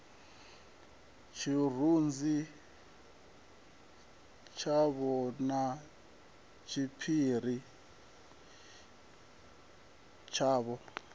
tshirunzi tshavho na tshiphiri tshavho